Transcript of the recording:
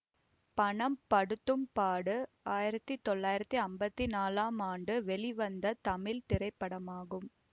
பணம் படுத்தும் பாடு ஆயிரத்தி தொள்ளாயிரத்தி அம்பத்தி நாலாம் ஆண்டு வெளிவந்த தமிழ் திரைப்படமாகும்